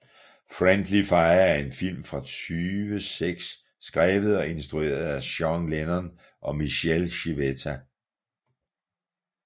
Friendly Fire er en film fra 2006 skrevet og instrueret af Sean Lennon og Michele Civetta